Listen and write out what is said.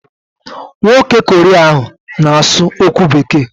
Nwoke Korea ahụ na-asụ okwu Bekee.